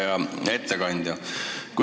Hea ettekandja!